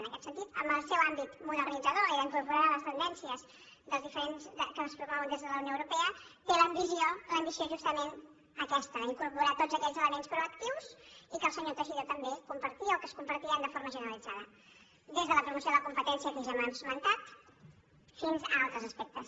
en aquest sentit amb el seu àmbit modernitzador i d’incorporar les tendències que es promouen des de la unió europea té l’ambició justament aquesta d’in·corporar tots aquells elements proactius i que el senyor teixidó també compartia o que es compartien de forma generalitzada des de la promoció de la competència que ja hem esmentat fins a altres aspectes